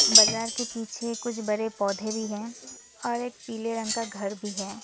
बाजार के पीछे कुछ बड़े पौधे भी हैं और एक पीले रंग का घर भी है।